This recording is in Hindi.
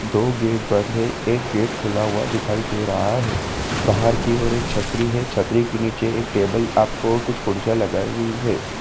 दो गेट बंद है एक गेट खुला हुआ दिखाई दे रहा है बाहर की और एक छतरी है छतरी के नीचे एक टेबल आपको कुछ कुर्सियां लगाई हुई है।